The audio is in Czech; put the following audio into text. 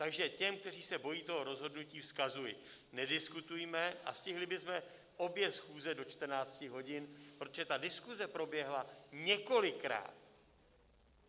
Takže těm, kteří se bojí toho rozhodnutí, vzkazuji: nediskutujme a stihli bychom obě schůze do 14 hodin, protože ta diskuse proběhla několikrát.